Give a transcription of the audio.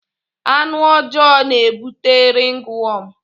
Anụ ọjọọ na-ebute ringwọm.